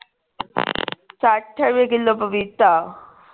ਸੱਠ ਰੁਪਏ ਕਿੱਲੋ ਪਪੀਤਾ